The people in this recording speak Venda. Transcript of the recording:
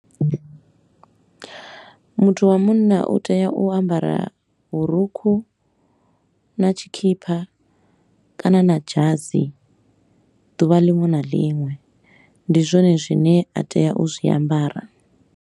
Muthu wa munna u tea u ambara vhurukhu na tshikhipha kana na dzhasi duvha linwe na linwe, ndi zwone zwine a tea u zwi ambara.